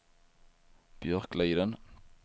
Björkliden